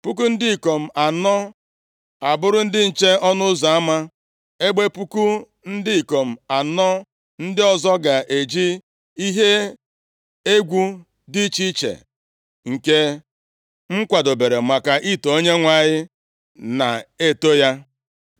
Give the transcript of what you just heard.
puku ndị ikom anọ abụrụ ndị nche ọnụ ụzọ ama, ebe puku ndị ikom anọ ndị ọzọ ga-eji ihe egwu dị iche iche nke m kwadobere maka ito Onyenwe anyị, na-eto ya.”